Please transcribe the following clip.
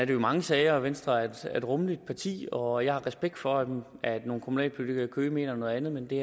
jo i mange sager venstre er et rummeligt parti og jeg har respekt for at nogle kommunalpolitikere i køge mener noget andet men det